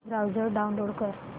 browser download कर